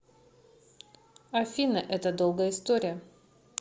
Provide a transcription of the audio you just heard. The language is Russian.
афина это долгая история